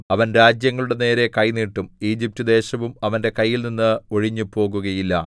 അവൻ രാജ്യങ്ങളുടെ നേരെ കൈ നീട്ടും ഈജിപ്റ്റ് ദേശവും അവന്റെ കൈയിൽനിന്ന് ഒഴിഞ്ഞുപോകുകയില്ല